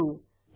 इदे वर जाऊ